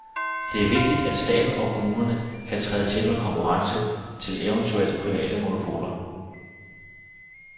Det er vigtigt, at staten og kommunerne kan træde til med konkurrence til eventuelt private monopoler.